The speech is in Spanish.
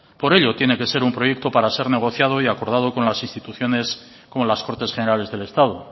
por ello tiene que ser un proyecto para ser negociado y aprobado con las instituciones con las cortes generales del estado